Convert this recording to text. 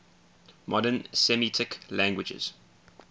modern semitic languages